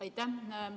Aitäh!